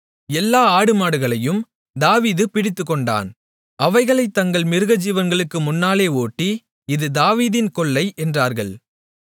எல்லா ஆடுமாடுகளையும் தாவீது பிடித்துக்கொண்டான் அவைகளைத் தங்கள் மிருகஜீவன்களுக்கு முன்னாலே ஓட்டி இது தாவீதின் கொள்ளை என்றார்கள்